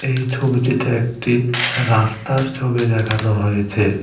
এই ছবিটিতে একটি রাস্তার ছবি দেখানো হয়েছে।